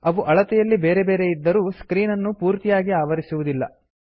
ಅವು ಅಳತೆಯಲ್ಲಿ ಬೇರೆ ಬೇರೆಯಿದ್ದರೂ ಸ್ಕ್ರೀನ್ ಅನ್ನು ಪೂರ್ತಿಯಾಗಿ ಆವರಿಸುವುದಿಲ್ಲ